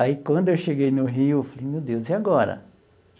Aí, quando eu cheguei no Rio, eu falei, meu Deus, e agora?